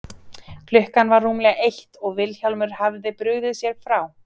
Klukkan var rúmlega eitt og Vilhjálmur hafði brugðið sér frá.